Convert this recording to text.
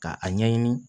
Ka a ɲɛɲini